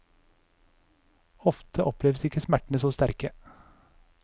Ofte oppleves ikke smertene så sterke.